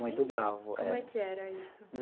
Muito bravo, é. Como é que era isso?